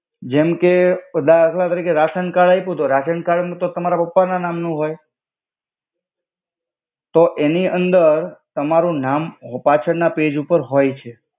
જેમ કે દખલા તરિકે રાસન કર્ડ આય્પુ તો રાસન નુ તો તમાર પાપા ના નામ નુ હોય તો એનિ અંદર તામરુ નામ પાછ્ડ ના પૈજ ઉપર હોય છે.